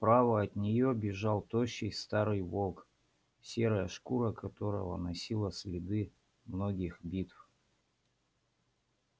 справа от неё бежал тощий старый волк серая шкура которого носила следы многих битв